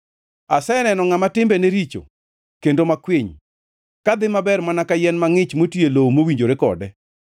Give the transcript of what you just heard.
Aseneno ngʼama timbene richo kendo makwiny kadhi maber mana ka yien mangʼich moti e lowo mowinjore kode.